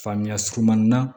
Faamuya surunmanin na